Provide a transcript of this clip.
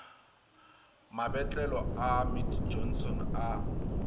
mabotlelo a mead johnson a